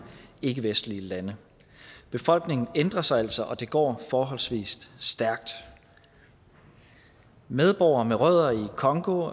ikkevestlige lande befolkningen ændrer sig altså og det går forholdsvis stærkt medborgere med rødder i congo